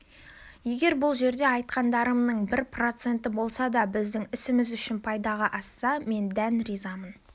егер бұл жерде айтқандарымның бір проценті болса да біздің ісіміз үшін пайдаға асса мен дән разымын